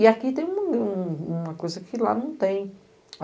E aqui tem uma coisa que lá não tem.